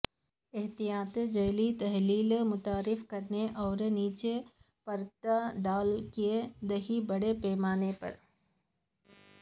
احتیاط جیلی تحلیل متعارف کرانے اور نیچے پرت ڈال کیک دہی بڑے پیمانے پر